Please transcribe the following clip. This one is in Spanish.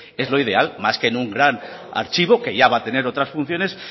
es lo ideal más que en un gran archivo que ya va a tener otras funciones